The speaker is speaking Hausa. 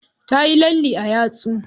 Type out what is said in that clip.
Tayi lalle a yatsu.